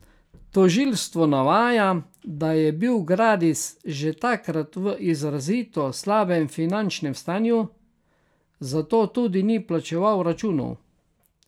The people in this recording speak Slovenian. Tožilstvo navaja, da je bil Gradis že takrat v izrazito slabem finančnem stanju, zato tudi ni plačeval računov.